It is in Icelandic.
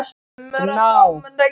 Gná, hvernig er dagskráin?